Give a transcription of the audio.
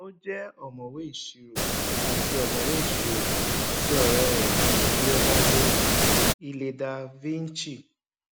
o je omowẹ isiro àti omowẹ isiro àti ọrẹ rẹ leonardo ileda vinci